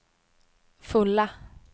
fulla